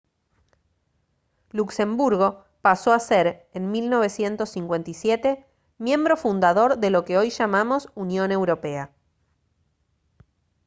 luxemburgo pasó a ser en 1957 miembro fundador de lo que hoy llamamos unión europea